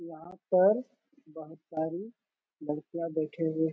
यहाँ पर बहुत सारी लड़कियाँ बैठे हुए --